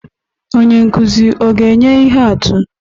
Onye nkuzi ọ ga-enye ihe atụ?